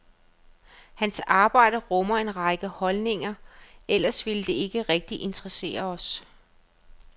Hans arbejde rummer en række holdninger, ellers ville det ikke rigtig interessere os.